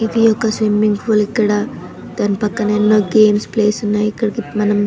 ఇది ఒక swimming pool ఇక్కడ దాని పక్కన ఎన్నో గేమ్స్ ప్లేస్ ఉన్నయి. ఇక్కడకి మనం --